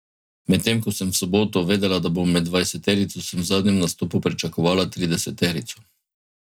Medtem ko sem v soboto vedela, da bom med dvajseterico, sem v zadnjem nastopu pričakovala trideseterico.